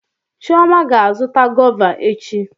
Chioma ga-azụta gọva echi.